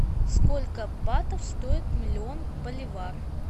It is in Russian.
сколько батов стоит миллион боливар